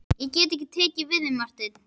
Ég get ekki tekið við þeim, sagði Marteinn.